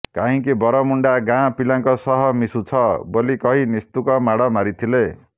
କାହିଁକି ବରମୁଣ୍ଡା ଗାଁ ପିଲାଙ୍କ ସହ ମିଶୁଛ ବୋଲି କହି ନିସ୍ତୁକ ମାଡ଼ ମାରିଥିଲେ